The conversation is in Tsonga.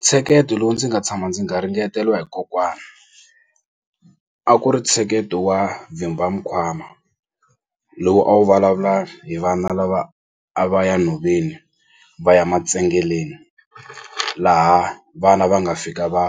Ntsheketo lowu ndzi nga tshama ndzi garingeteliwa hi kokwani a ku ri ntsheketo wa vhimba mikwama lowu a wu vulavula hi vana lava a va ya nhoveni va ya matsengeleni laha vana va nga fika va